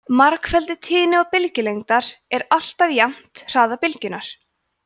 margfeldi tíðni og bylgjulengdar er alltaf jafnt hraða bylgjunnar